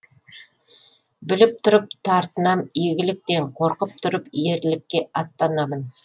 біліп тұрып тартынам игіліктен қорқып тұрып ерлікке аттанамын